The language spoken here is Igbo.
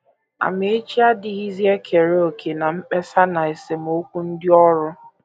Amaechi adịghịzi ekere òkè ná mkpesa na esemokwu ndị ọrụ.